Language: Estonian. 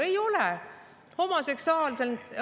Ei ole!